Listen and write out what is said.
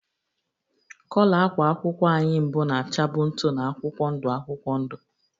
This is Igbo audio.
Kọlọ ákwà akwụkwọ anyị mbụ na-achabụ ntụ na akwụkwọ ndụ akwụkwọ ndụ